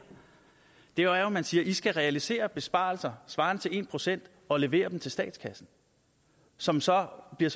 er jo at man siger i skal realisere besparelser svarende til en procent og levere dem til statskassen som så bliver